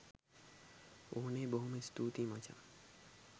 ඕනෙ බොහෝම ස්තූතියි මචං